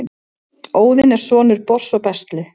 óðinn er sonur bors og bestlu